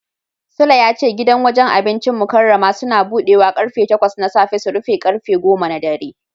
Sule ya ce gidan wajen abincin Mukarramah Suns budewa karfe takwas na safe su rufe karfe goma na dare.